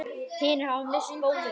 Hinir hafa misst móðinn.